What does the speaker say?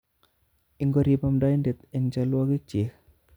Ikorib amdoindet eng cholwokikyik